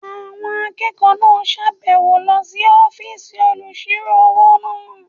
Àwọn akẹ́kọ̀ọ́ náà sàbẹ̀wo lọ sí ọ́fìsì olùsirò-owó náà